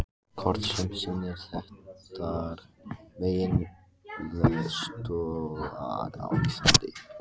Kort sem sýnir þekktar megineldstöðvar á Íslandi.